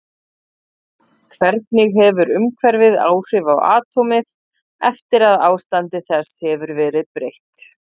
Hvernig hefur umhverfið áhrif á atómið eftir að ástandi þess hefur verið breytt?